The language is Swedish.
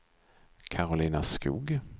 Karolina Skoog